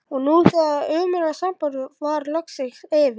Og nú þegar það ömurlega samband var loksins yfir